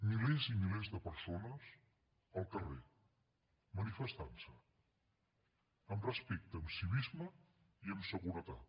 milers i milers de persones al carrer manifestant se amb respecte amb civisme i amb seguretat